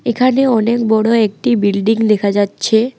এখানে অনেক বড় একটি বিল্ডিং দেখা যাচ্ছে।